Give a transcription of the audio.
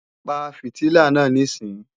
Pa fìtílà náà níìsín!